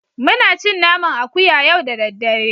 Muna cin naman akuya yau da daddare